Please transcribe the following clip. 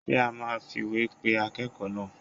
Ṣé a máa fìwé pe akẹ́kọ̀ọ́ náà?